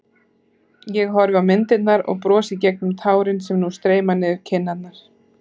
Ég horfi á myndirnar og brosi gegnum tárin sem nú streyma niður kinnarnar.